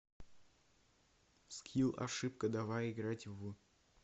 скилл ошибка давай играть в